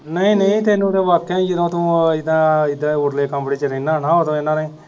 ਨਹੀਂ ਨਹੀਂ ਤੈਨੂੰ ਤੇ ਵਾਕਿਆ ਈ ਜਦੋ ਤੂੰ ਇਦਾ ਉਰਲੇ ਕਮਰੇ ਚ ਰਹਿਣਾ ਹੁਣਾ ਹਾਂ ਉਦੋਂ ਇਨ੍ਹਾਂ ਨੇ